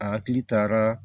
A hakili taara